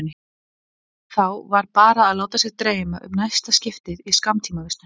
Þá var bara að láta sig dreyma um næsta skiptið í skammtímavistun.